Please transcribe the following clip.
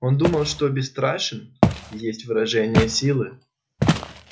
он думал что бесстрашен и есть выражение силы